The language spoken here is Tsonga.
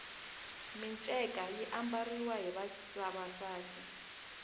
minceka yi ambariwa hi vavasati